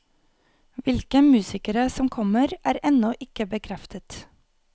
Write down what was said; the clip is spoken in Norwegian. Hvilke musikere som kommer, er ennå ikke bekreftet.